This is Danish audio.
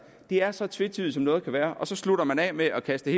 det er så tvetydigt som noget kan være og så slutter man af med at kaste